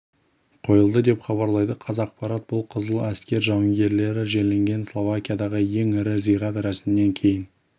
қойылды деп хабарлайды қазақпарат бұл қызыл әскер жауынгерлері жерленген словакиядағы ең ірі зират рәсімнен кейін